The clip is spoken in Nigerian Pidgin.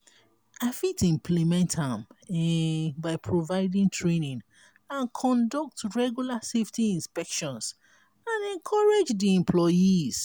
i fit implement am um by providing training and conduct regular safety inspections and encourage di employees.